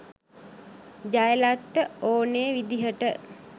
ජයලත්ට ඕනේ විදිහට.